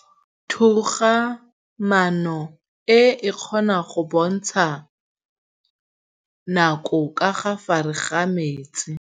Toga-maanô e, e kgona go bontsha nakô ka fa gare ga metsi.